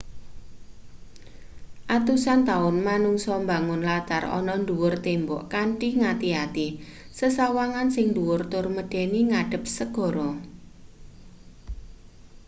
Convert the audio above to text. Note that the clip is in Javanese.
atusan taun manungsa mbangun latar ana ndhuwur tembok kanthi ngati-ati sesawangan sing ndhuwur tur medeni ngadhep segara